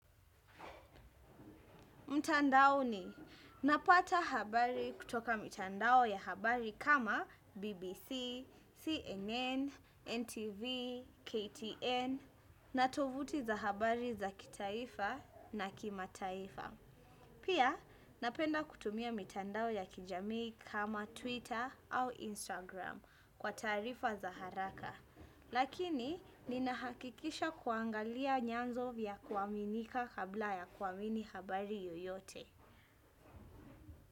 Mtandao ni, napata habari kutoka mitandao ya habari kama BBC, CNN, NTV, KTN, na tofauti za habari za kitaifa na kimataifa. Pia, napenda kutumia mitandao ya kijamii kama Twitter au Instagram kwa taarifa za haraka. Lakini ninahakikisha kuangalia nyanzo vya kuaminika kabla ya kuamini habari yoyote.